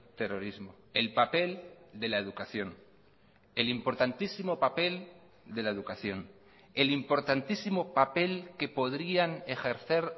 terrorismo el papel de la educación el importantísimo papel de la educación el importantísimo papel que podrían ejercer